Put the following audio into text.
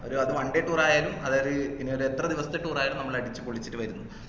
ഒരു അത് one day tour ആയാലും അതാ അത് ഇനിയൊരു എത്ര ദിവസത്തെ tour ആയാലും നമ്മള് അടിച്ചുപൊളിച്ചിട്ട് വരുന്നു